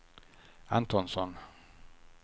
Antonsson